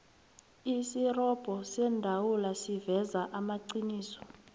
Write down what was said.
isirobho seendawula siveza amaqiniso